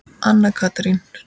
Anna Katrín.